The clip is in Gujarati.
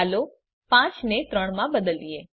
ચાલો ૫ ને ૩ માં બદલીએ